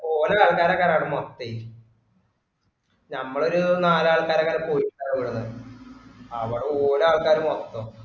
ഓലെ ആള്ക്കാര് അങ്ട് മൊത്തെ ഞമ്മള് ഒരു നാല് ആൾക്കാരുമെങ്ങാനും പോയ ഇവ്ട്ന്ന് അവ്ടെ ഓലെ ആള്ക്കാര് മൊത്തം